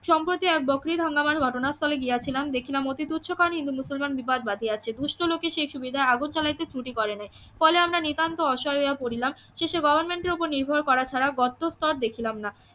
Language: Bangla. সম্প্রতি এক বকরি ইদ হাঙ্গামা ঘটনাস্থলে গিয়াছিলাম দেখছিলাম অতি তুচ্ছ কারণে হিন্দু মুসলমান বিবাদ বাধিয়াছে দুষ্ট লোকের সে সুবিধা আগোছালাইতে ত্রুটি করে নাই ফলে আমরা নিতান্তই অসহায় হইয়া পড়িলাম শেষে গভর্নমেন্টের ওপর নির্ভর করা ছাড়া গত্রস্তর দেখিলাম না